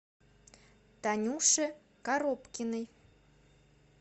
танюше коробкиной